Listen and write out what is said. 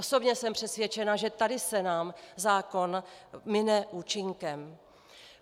Osobně jsem přesvědčena, že tady se nám zákon mine účinkem.